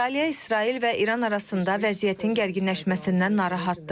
Avstraliya İsrail və İran arasında vəziyyətin gərginləşməsindən narahatdır.